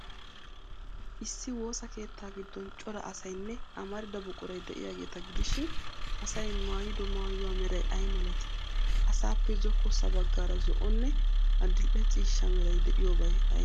Issi woosa keettaa giddon cora asaynne amarida buquray de'iyaageeta gidishin, Asay maayido maayuwa meray ay malatii? Asaappee zokkossa baggaara zo'onne adil''e ciishsha meray de'iyoobay aybee?